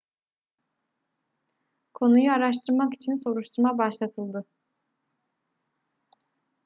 konuyu araştırmak için soruşturma başlatıldı